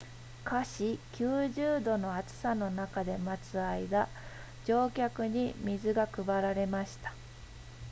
華氏90度の暑さの中で待つ間乗客に水が配られました